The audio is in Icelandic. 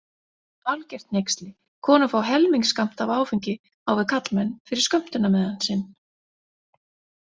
Algert hneyksli, konur fá helmingsskammt af áfengi á við karlmenn fyrir skömmtunarmiðann sinn.